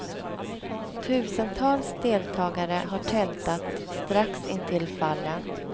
Tusentals deltagare har tältat strax intill fallen.